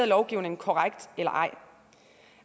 lovgivningen korrekt eller ej